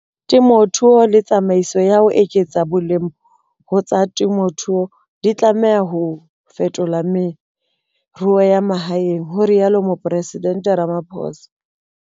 Temothuo le tsamaiso ya ho eketsa boleng ho tsa temothuo di tlameha ho fetola meruo ya mahaeng, ho rialo Mopresidente Ramaphosa.